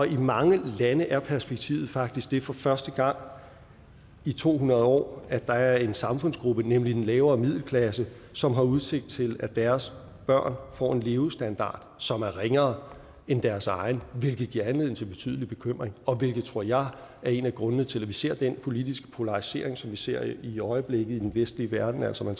i mange lande er perspektivet faktisk det for første gang i to hundrede år at der er en samfundsgruppe nemlig den lavere middelklasse som har udsigt til at deres børn får en levestandard som er ringere end deres egen hvilket giver anledning til betydelig bekymring og hvilket tror jeg er en af grundene til at vi ser den politiske polarisering som vi ser i øjeblikket i den vestlige verden altså